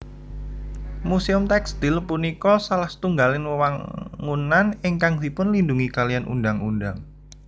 Muséum Tèkstil punika salah setunggaling wewangunan ingkang dipunlindungi kaliyan undhang undhang